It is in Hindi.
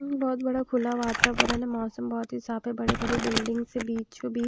बहोत बड़ा खुला वातावरण मौसम बहोत ही साफ है बड़ी बड़ी बिल्डिंग से बीचों बीच--